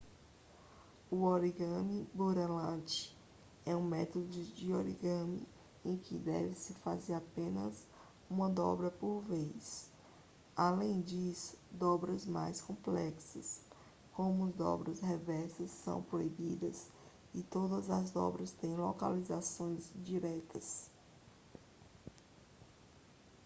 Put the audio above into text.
o origami pureland é um método de origami em que deve-se fazer apenas uma dobra por vez além disso dobras mais complexas como dobras reversas são proibidas e todas as dobras têm localizações diretas